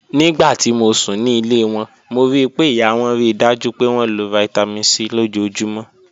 Nigbati mo sun ni ile wọn, mo rii pe iya wọn rii daju pe wọn lo Vitamin C lojoojumọ.